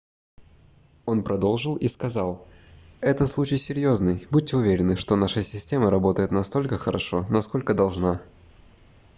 он продолжил и сказал этот случай серьёзный будьте уверены что наша система работает настолько хорошо насколько должна